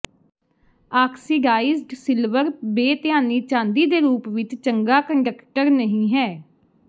oxidised silver ਬੇਧਿਆਨੀ ਚਾਂਦੀ ਦੇ ਰੂਪ ਵਿਚ ਚੰਗਾ ਕੰਡਕਟਰ ਨਹੀਂ ਹੈ